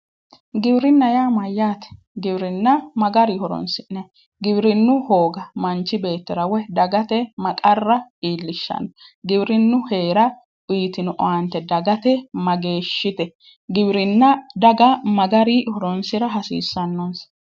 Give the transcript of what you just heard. Giwirinna yaa Mayyaate? Giwirinna ma garii horoni'sinanni? Giwinnu hooga manichi beetira wpyi dagate ma qarra iilishanno? Giwirinnu heera uyitino owaanite dagate mageeshite? Giwirinna daga ma garii horonisira hasiisanonisa?